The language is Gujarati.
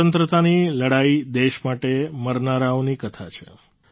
સ્વતંત્રતાની લડાઈ દેશ માટે મરનારાઓની કથા છે